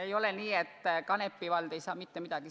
Ei ole nii, et Kanepi vald ei saa mitte midagi.